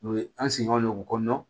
U ye an sigiyɔrɔ ye dugu kɔnɔna na